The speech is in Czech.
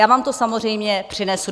Já vám to samozřejmě přinesu.